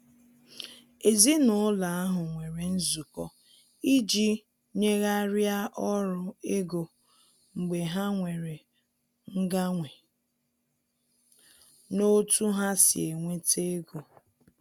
Èzìnàụlọ ahụ nwere nzụkọ iji nyèghariá ọrụ ego mgbe ha nwere mganwe n' ọ̀tu ha si enweta ègò.